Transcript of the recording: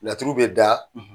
Laturu bɛ da